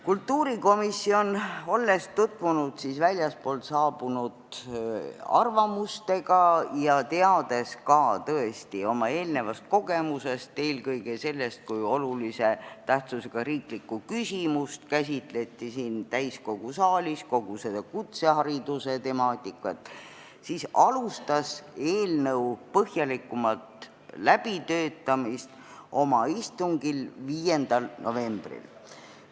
Kultuurikomisjon, olles tutvunud väljastpoolt saabunud arvamustega ja teades ka kogu seda kutsehariduse temaatikat lähtudes oma eelnevast kogemusest, eelkõige sellest, kui siin täiskogu saalis käsitleti olulise tähtsusega riiklikku küsimust, alustas eelnõu põhjalikumat läbitöötamist oma istungil 5. novembril.